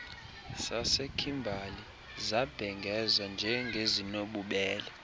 sasekhimbali zabhengezwa njengezinobubele